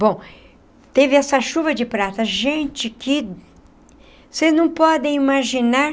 Bom... teve essa chuva de prata... gente que... vocês não podem imaginar...